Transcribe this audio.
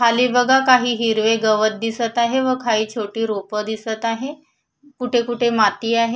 खाली बघा काही हिरवे गवत दिसत आहे व काही छोटे रोप दिसत आहे कुठे कुठे माती आहे.